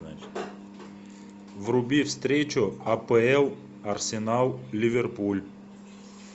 вруби встречу апл арсенал ливерпуль